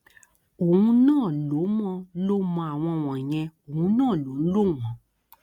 òun náà ló mọ ló mọ àwọn wọnyẹn òun náà ló ń lò wọn